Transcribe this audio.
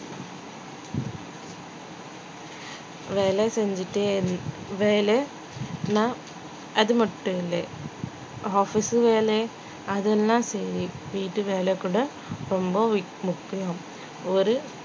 வேலை செஞ்சுட்டே வேலை அது மட்டும் இல்லே office உம் வேலை அதெல்லாம் சரி வீட்டு வேலை கூட ரொம்ப மு~ முக்கியம் ஒரு